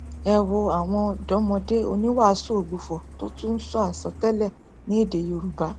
ẹ wo àwọn ọdọmọdé oníwàásù ògbufọ tó tún ń sọ àsọtẹlẹ ní èdè yorùbá